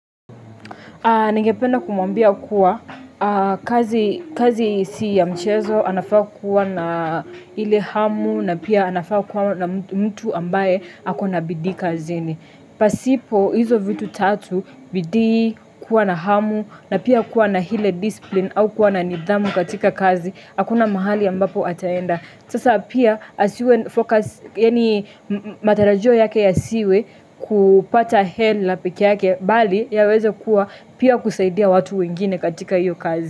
Nengependa kumambia kuwa kazi si ya mchezo, anafaa kuwa na ile hamu na pia anafaa kuwa na mtu ambaye akona bidikazini. Pasipo, hizo vitu tatu, bidii, kuwa na hamu, na pia kuwa na hile discipline au kuwa na nidhamu katika kazi, akuna mahali ambapo ataenda. Sasa pia asiwe focus, yani matarajio yake ya siwe kupata hela peke yake, bali yawezekuwa pia kusaidia watu wengine katika iyo kazi.